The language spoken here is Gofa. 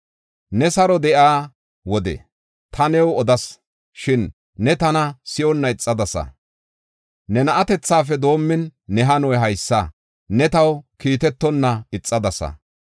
Ne saro de7iya wode ta new odas; shin ne tana si7onna ixadasa. Ne na7atethafe doomin ne hanoy haysa; ne taw kiitetonna ixadasa.